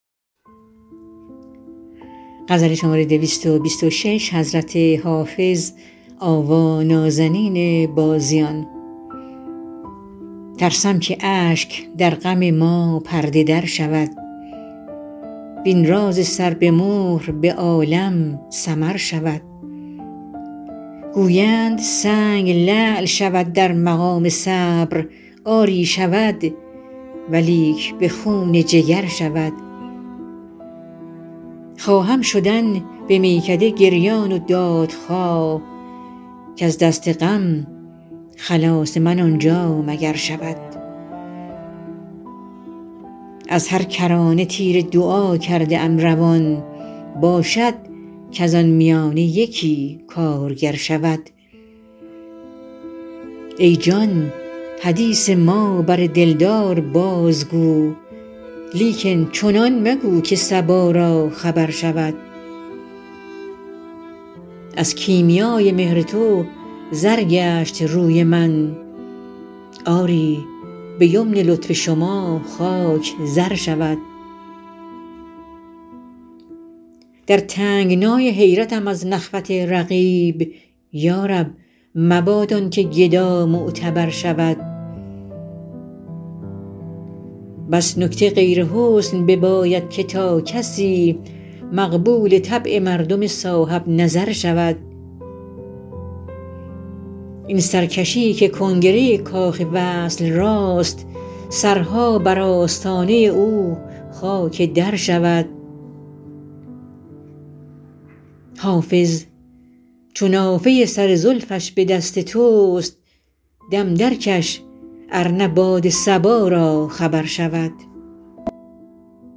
ترسم که اشک در غم ما پرده در شود وین راز سر به مهر به عالم سمر شود گویند سنگ لعل شود در مقام صبر آری شود ولیک به خون جگر شود خواهم شدن به میکده گریان و دادخواه کز دست غم خلاص من آنجا مگر شود از هر کرانه تیر دعا کرده ام روان باشد کز آن میانه یکی کارگر شود ای جان حدیث ما بر دلدار بازگو لیکن چنان مگو که صبا را خبر شود از کیمیای مهر تو زر گشت روی من آری به یمن لطف شما خاک زر شود در تنگنای حیرتم از نخوت رقیب یا رب مباد آن که گدا معتبر شود بس نکته غیر حسن بباید که تا کسی مقبول طبع مردم صاحب نظر شود این سرکشی که کنگره کاخ وصل راست سرها بر آستانه او خاک در شود حافظ چو نافه سر زلفش به دست توست دم درکش ار نه باد صبا را خبر شود